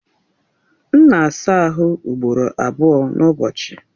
M na-asaa ahụ ugboro abụọ n'ụbọchị.